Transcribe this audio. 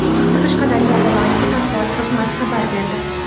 Bu haqda Qashqadaryo viloyati matbuot xizmati xabar berdi .